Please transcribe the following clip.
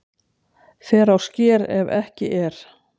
Fer á sker ef ekki er